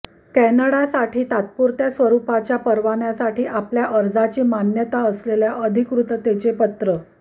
कॅनडासाठी तात्पुरत्या स्वरुपाच्या परवान्यासाठी आपल्या अर्जाची मान्यता असलेल्या अधिकृततेचे पत्र